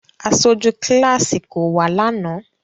Aṣoju kilasi ko wa lánà.